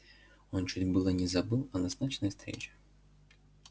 он чуть было не забыл о назначенной встрече